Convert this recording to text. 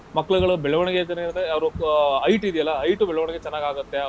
ಮಕ್ಳ್ಗಳು ಬೆಳವಣಿಗೆ ಅಂತಂದ್ರೆ ಅವ್ರು ಆಹ್ height ಇದ್ಯಲ್ಲ height ಬೆಳವಣಿಗೆ ಚೆನ್ನಾಗಾಗತ್ತೆ.